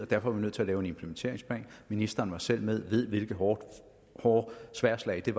derfor var nødt til at lave en implementeringsplan ministeren var selv med og ved hvilke hårde hårde sværdslag det